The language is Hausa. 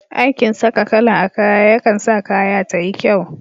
Aikin saka kala a kaya yakan sa kaya tayi kyau.